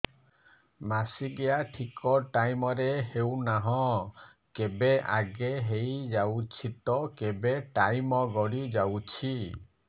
ମାସିକିଆ ଠିକ ଟାଇମ ରେ ହେଉନାହଁ କେବେ ଆଗେ ହେଇଯାଉଛି ତ କେବେ ଟାଇମ ଗଡି ଯାଉଛି